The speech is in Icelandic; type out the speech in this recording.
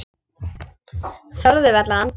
Þorðu varla að anda.